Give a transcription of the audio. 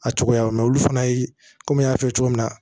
A cogoya olu fana ye komi n y'a f'i ye cogo min na